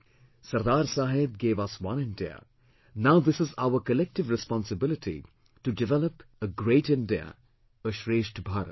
Sardar Saheb gave us one India, now this is our collective responsibility to develop a Great India, a Shreshtha Bharat